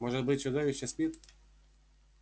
может быть чудовище спит